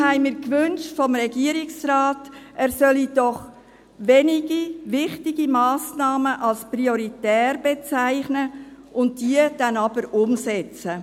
Deshalb wünschten wir vom Regierungsrat, er solle doch wenige wichtige Massnahmen als prioritär bezeichnen und diese dann aber umsetzen.